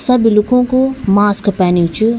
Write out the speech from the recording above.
सब लुखु कु मास्क पेन्यु च।